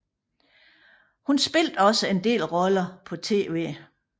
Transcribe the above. Hun spillede også en del roller på tv